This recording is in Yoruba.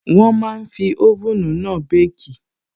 Wọ́n máa n fi oven náà békì